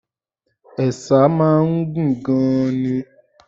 Ẹ̀sà máa ń gùn gan-an ni.